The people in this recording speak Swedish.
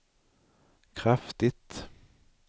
kraftigt